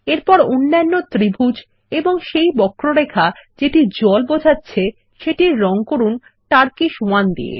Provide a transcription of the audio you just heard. এরপর অন্যান্য ত্রিভুজ এবং সেই বক্ররেখা যেটি জল বোঝাচ্ছে সেটির রঙ করুন টারকোয়েস 1 দিয়ে